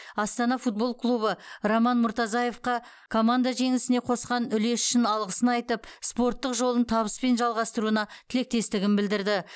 астана футбол клубы роман муртазаевқа команда жеңісіне қосқан үлесі үшін алғысын айтып спорттық жолын табыспен жалғастыруына тілектестігін білдірді